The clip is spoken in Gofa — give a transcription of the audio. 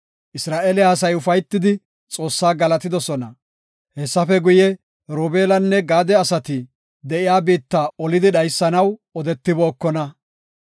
Isra7eele asay ufaytidi, Xoossaa galatidosona. Hessafe guye, Robeelanne Gaade asati de7iya biitta olidi dhaysanaw odetibookona.